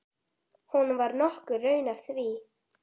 Honum var nokkur raun að því.